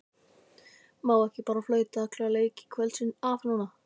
Má ekki bara flauta alla leiki kvöldsins af núna?